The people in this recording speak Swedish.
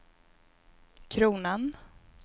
kronan